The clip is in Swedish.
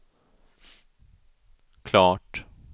klart